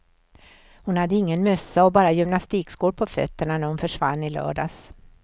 Hon hade ingen mössa och bara gymnastikskor på fötterna när hon försvann i lördags.